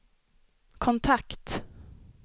kontakt